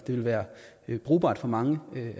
vil være brugbart for mange